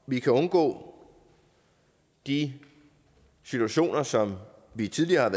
vi kan undgå de situationer som vi tidligere har